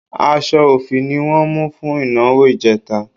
Aṣọ òfì ni wọ́n mú fún ìnáwó ìjẹta